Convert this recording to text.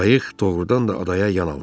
Qayıq doğurdan da adaya yan almışdı.